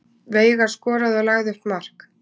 Veigar skoraði og lagði upp mark